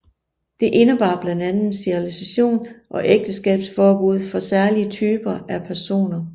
Det indebar blandt andet sterilisation og ægteskabsforbud for særlige typer af personer